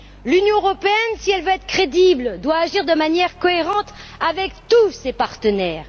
L'Union européenne, si elle veut être crédible, doit agir de manière cohérente avec tous ses partenaires.